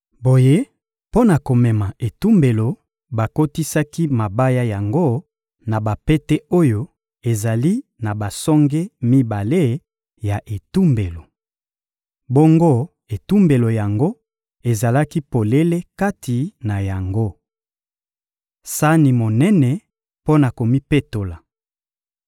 Boye, mpo na komema etumbelo, bakotisaki mabaya yango na bapete oyo ezali na basonge mibale ya etumbelo. Bongo etumbelo yango ezalaki polele kati na yango. Sani monene mpo na komipetola